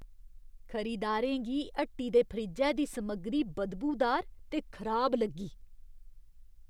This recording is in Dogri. खरीददारें गी हट्टी दे फ्रिज्जै दी समग्गरी बदबूदार ते खराब लग्गी।